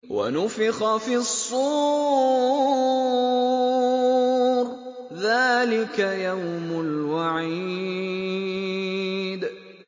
وَنُفِخَ فِي الصُّورِ ۚ ذَٰلِكَ يَوْمُ الْوَعِيدِ